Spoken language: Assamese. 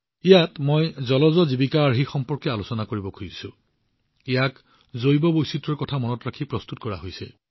ইয়াত মই জলজ অজীৱিকা মডেলৰ বিষয়ে আলোচনা কৰিব বিচাৰো যিটো জৈৱ বৈচিত্ৰ্যৰ কথা মনত ৰাখি প্ৰস্তুত কৰা হৈছে